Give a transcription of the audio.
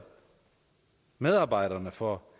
medarbejderne for